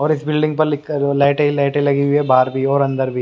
और इस बिल्डिंग पर लिख कर लाइटे ही लाइटे लगी हुई है बहार भी है और अंदर भी।